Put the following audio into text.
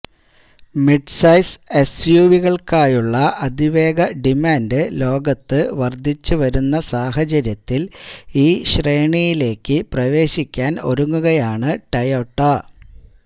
mid size എസ്യുവികൾക്കായുള്ള അതിവേഗ demand ലോകത്ത് വർധിച്ചു വരുന്ന സാഹചര്യത്തിൽ ഈ ശ്രേണിയിലേക്ക് പ്രവേശിക്കാൻ ഒരുങ്ങുകയാണ് ടൊയോട്ട